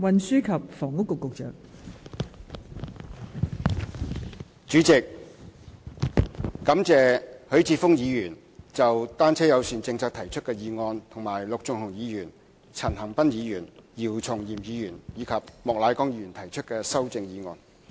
代理主席，我感謝許智峯議員就單車友善政策提出的議案，以及陸頌雄議員、陳恒鑌議員、姚松炎議員和莫乃光議員提出的修正案。